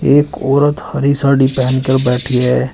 एक औरत हरी साड़ी पहन कर बैठी है।